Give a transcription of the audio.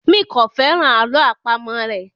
mí kọ féràn àlọ́ àpamọ̀ rẹ.